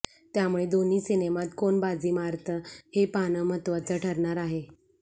त्यामुळे दोन्ही सिनेमात कोण बाजी मारतं हे पाहणं महत्त्वाचं ठरणार आहे